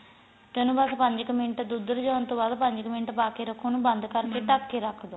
ਤਾਂ ਇੰਨੁ ਬੱਸ ਪੰਜ ਕ ਮਿੰਟ ਦੁੱਧ ਰਿਜਾਣ ਤੋਂ ਬਾਅਦ ਪੰਜ ਕ ਮਿੰਟ ਪਾ ਕੇ ਰੱਖੋ ਉਨੂੰ ਬੰਦ ਕਰਕੇ ਰੱਖ ਦੋ